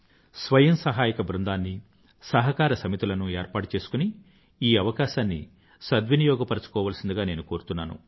స్వయం సహాయక బృందాన్ని సహకార సమితులను ఏర్పాటు చేసుకుని ఈ అవకాశాన్ని సద్వినియోగపరుచుకోవలసినదిగా నేను కోరుతున్నాను